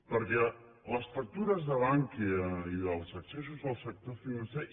perquè les factures de bankia i dels excessos del sector financer